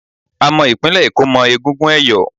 A mọ ìpínlẹ̀ Èkó mọ́ egungun ẹ̀yọ̀